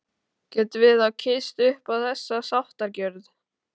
Getum við þá kysst upp á þessa sáttargjörð?